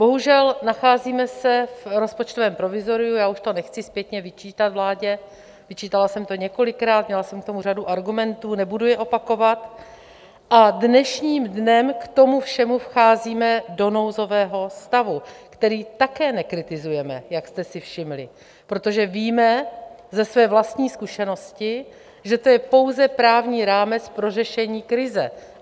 Bohužel, nacházíme se v rozpočtovém provizoriu, já už to nechci zpětně vyčítat vládě, vyčítala jsem to několikrát, měla jsem k tomu řadu argumentů, nebudu je opakovat, a dnešním dnem k tomu všemu vcházíme do nouzového stavu, který také nekritizujeme, jak jste si všimli, protože víme ze své vlastní zkušenosti, že to je pouze právní rámec pro řešení krize.